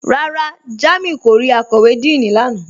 Rárá, Jàmíù kò rí àkọ̀wé Díìní lánà